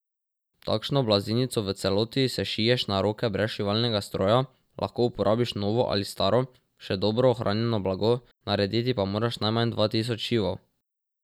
Takšno blazinico v celoti sešiješ na roke brez šivalnega stroja, lahko uporabiš novo ali staro, še dobro ohranjeno blago, narediti pa moraš najmanj dva tisoč šivov.